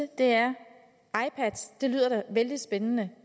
da lyder vældig spændende